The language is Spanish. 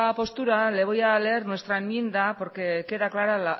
postura le voy a leer nuestra enmienda porque queda clara